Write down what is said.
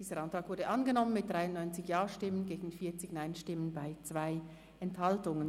Dieser Antrag ist angenommen worden mit 93 Ja- gegen 40 Nein-Stimmen bei 2 Enthaltungen.